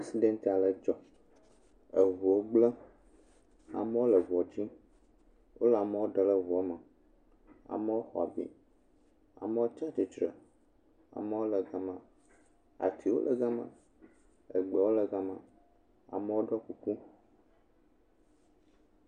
Aksidɛnt aɖe dzɔ. Ŋuwo gblẽ. Amewo le ŋua tum. Wole amewo ɖem le ŋua me. Amewo xɔ abi. Amewo tsi tsitre. Amewo le gema. Atiwo le gema. Gbewo le gema. Amewo ɖɔ kuku.